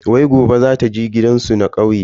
Wai gobe zata je gidansu na kauye.